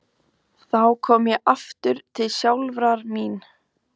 Þá kom ég aftur til sjálfrar mín.